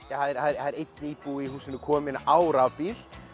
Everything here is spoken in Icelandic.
það er einn íbúi í húsinu kominn á rafbíl